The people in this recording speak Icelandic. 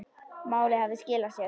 Málið hafði skilað sér.